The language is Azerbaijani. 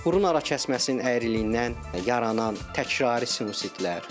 Burun ara kəsməsinin əyriliyindən yaranan təkrari sinusitlər.